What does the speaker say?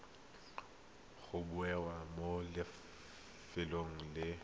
go bewa mo lefelong le